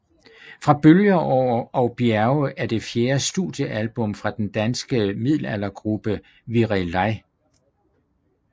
Fra bølger og bjerge er det fjerde studiealbum fra den danske middelaldergruppe Virelai